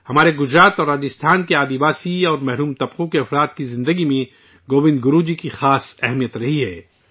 ہمارے گجرات اور راجستھان کے آدیواسی اور محروم طبقوں کی زندگی میں گووند گرو جی کی بہت خاص اہمیت رہی ہے